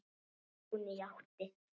Hún játti.